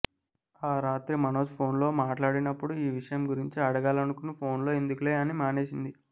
ఆ రాత్రి మనోజ్ ఫోన్లో మాట్లాడినపుడు ఈ విషయం గురించి అడగాలనుకుని ఫోన్లో ఎందుకులే అని మానేసింది